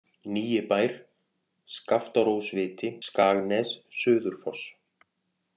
Nýi Bær, Skaftárósviti, Skagnes, Suður-Foss